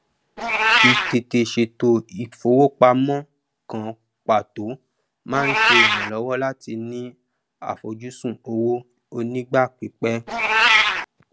ìtètè sètò ìfowópamọn kan pàtó máa ń ṣe ìrànlọwọ láti ní àfojúsùn owó onígbà pípẹ